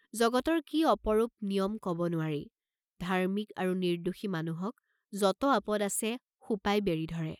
জগতৰ কি অপৰূপ নিয়ম কব নোৱাৰি, ধাৰ্ম্মিক আৰু নিৰ্দ্দোষী মানুহক যত আপদ আছে, সোপাই বেঢ়ি ধৰে।